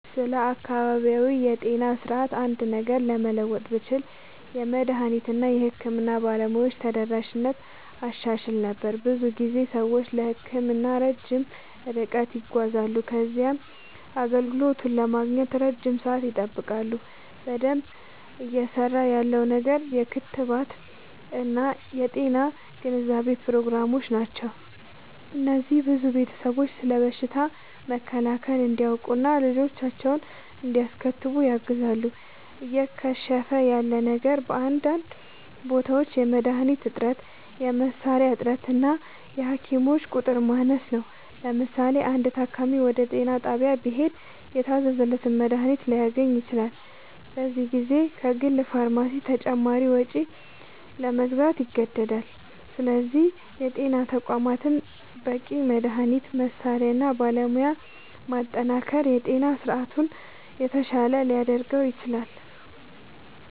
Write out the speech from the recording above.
ስለ አካባቢያዊ የጤና ስርዓት አንድ ነገር ለመለወጥ ብችል፣ የመድኃኒት እና የሕክምና ባለሙያዎች ተደራሽነትን አሻሽል ነበር። ብዙ ጊዜ ሰዎች ለሕክምና ረጅም ርቀት ይጓዛሉ ከዚያም አገልግሎቱን ለማግኘት ለረጅም ሰዓት ይጠብቃሉ። በደንብ እየሠራ ያለው ነገር የክትባት እና የጤና ግንዛቤ ፕሮግራሞች ናቸው። እነዚህ ብዙ ቤተሰቦች ስለ በሽታ መከላከል እንዲያውቁ እና ልጆቻቸውን እንዲያስከትቡ ያግዛሉ። እየከሸፈ ያለ ነገር በአንዳንድ ቦታዎች የመድኃኒት እጥረት፣ የመሣሪያ እጥረት እና የሐኪሞች ቁጥር ማነስ ነው። ለምሳሌ፣ አንድ ታካሚ ወደ ጤና ጣቢያ ቢሄድ የታዘዘለትን መድኃኒት ላያገኝ ይችላል፤ በዚህ ጊዜ ከግል ፋርማሲ በተጨማሪ ወጪ ለመግዛት ይገደዳል። ስለዚህ የጤና ተቋማትን በበቂ መድኃኒት፣ መሣሪያ እና ባለሙያ ማጠናከር የጤና ስርዓቱን የተሻለ ሊያደርገው ይችላል።